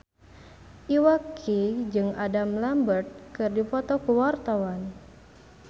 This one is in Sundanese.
Iwa K jeung Adam Lambert keur dipoto ku wartawan